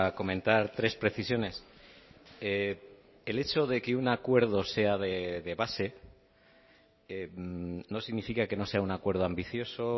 comentar tres precisiones el hecho de que un acuerdo sea de base no significa que no sea un acuerdo ambicioso